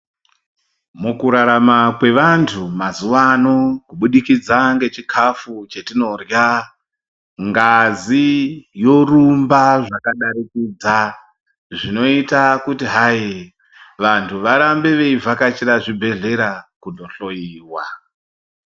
Mukurarama kwevantu mazuvano kubudikidza ngechikafu chetinorya ngazi yorumba zvakadarikidza zvinoita kuti hai, vantu varambe veivhakachira zvibhedhlera kundohloyiwa.